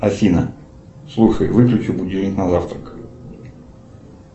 афина слушай выключи будильник на завтрак